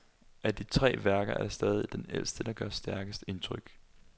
Af de tre værker er det stadig den ældste der gør stærkest indtryk.